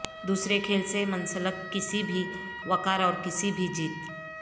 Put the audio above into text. دوسرے کھیل سے منسلک کسی بھی وقار اور کسی بھی جیت